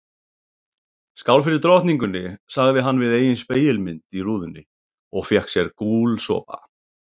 Skál fyrir drottningunni sagði hann við eigin spegilmynd í rúðunni og fékk sér gúlsopa.